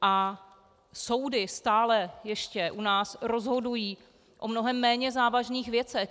A soudy stále ještě u nás rozhodují o mnohem méně závažných věcech.